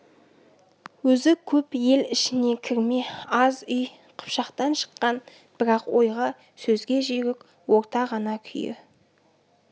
өзі көп ел ішіне кірме аз үй қыпшақтан шыққан бірақ ойға сөзге жүйрік орта ғана күйі